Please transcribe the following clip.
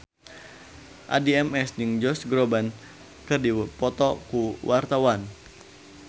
Addie MS jeung Josh Groban keur dipoto ku wartawan